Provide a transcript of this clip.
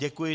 Děkuji.